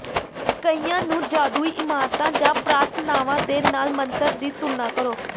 ਕਈਆਂ ਨੂੰ ਜਾਦੂਈ ਇਮਾਰਤਾਂ ਜਾਂ ਪ੍ਰਾਰਥਨਾਵਾਂ ਦੇ ਨਾਲ ਮੰਤਰ ਦੀ ਤੁਲਨਾ ਕਰੋ